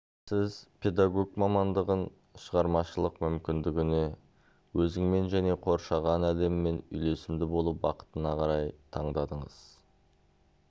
сіз педагог мамандығын шығармашылық мүмкіндігіне өзіңмен және қоршаған әлеммен үйлесімде болу бақытына қарай таңдадыңыз